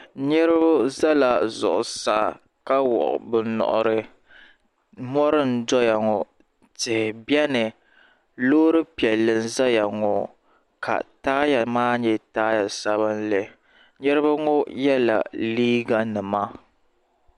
Niriba zala zuɣusaa ka wuɣi bɛ nuhiri mori n doya ŋɔ tihi biɛni loori piɛlli n zaya ŋɔ ka taaya maa nyɛ zaɣa sabinli niriba ŋɔ yela liiga nima.